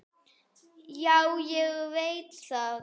Já, ég veit það